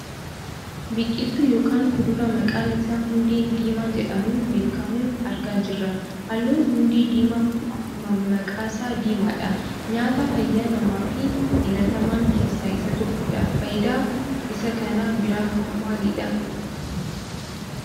Biqiltuu yookaan kuduraa maqaan isaa hundee diimaa jedhamuun beekkamu argaa jirra. Halluun hundee diimaa kun akkuma maqaasaa diimaadha. Nyaata fayyaa namaaf filataman keessaa isa tokoodha. Fayidaan isaa kan biraahoo maalidha?